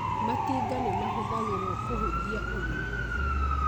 Matinga nĩ mahũthagĩrũo kũhũthia ũrĩmi